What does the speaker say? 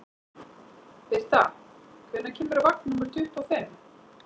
Birta, hvenær kemur vagn númer tuttugu og fimm?